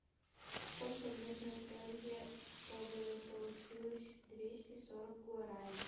сколько нужно тенге чтобы получилось двести сорок гуарани